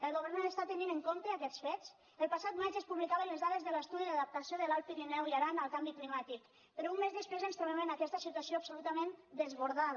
el govern està tenint en compte aquests fets el passat maig es publicaven les dades de l’estudi d’adaptació de l’alt pirineu i aran al canvi climàtic però un mes després ens trobem amb aquesta situació absolutament desbordada